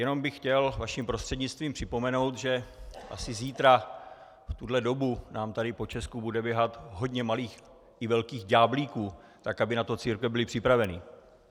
Jenom bych chtěl vaším prostřednictvím připomenout, že asi zítra v tuto dobu nám tady po Česku bude běhat hodně malých i velkých ďáblíků, tak aby na to církve byly připravené.